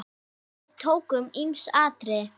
Við tókum ýmis atriði.